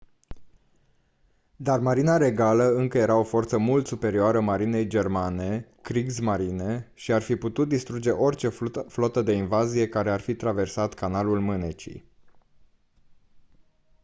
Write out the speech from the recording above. dar marina regală încă era o forță mult superioară marinei germane kriegsmarine” și ar fi putut distruge orice flotă de invazie care ar fi traversat canalul mânecii